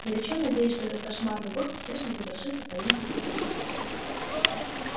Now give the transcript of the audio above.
горячо надеюсь что этот кошмарный год успешно завершится поимкой преступника